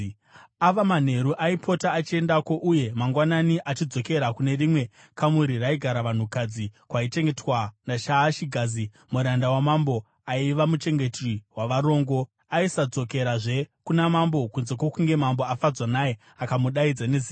Ava manheru aipota achiendako uye mangwanani achidzokera kune rimwe kamuri raigara vanhukadzi kwaichengetwa naShaashigazi, muranda wamambo aiva muchengeti wavarongo. Aisadzokerazve kuna mambo kunze kwokunge mambo afadzwa naye akamudaidza nezita.